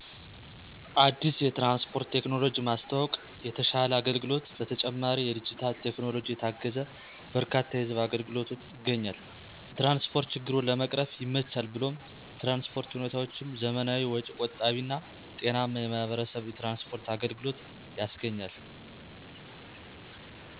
አዲስ የትራንስፖርት ቴክኖሎጂ ማስተዋወቅ የተሸለ አገልግሎት በተጨማሪ የዲጂታል ቴክኖሎጂ የታገዘ በርካታ የህዝብ አገልግሎትች ይገኛል። የትራንስፖርት ችግሩን ለመቅረፍ ይመቻል ብሎም የትራንስፖርት ሁኔታዎችም ዘመናዊ ወጭ ቆጣቢ እና ጤናማ የማህበረሰብ የትራንስፖርት አገልግሎት ያስገኛል